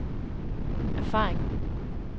erfaring